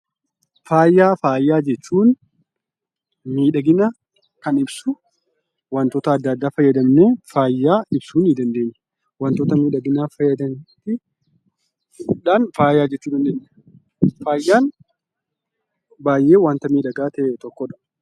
Faaya. Faaya jechuun miidhagina kan ibsu wantoota adda addaa fayyadamnee faaya ibsuu ni dandeenya. Wantoota miidhaginaaf fayyadaniifi faaya jechuu dandeenya. Faayan baay'ee wanta miidhagaa ta'e tokkodha.